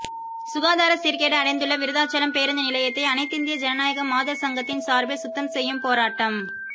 சுகாதாரச் சீர்கேடு அடைந்துள்ள விருத்தாசலம் பேருந்து நிலையத்தை அனைத்திந்திய ஜனநாயக மாதர் சங்கத்தின் சார்பில் சுத்தம் செய்யும் போராட்டம்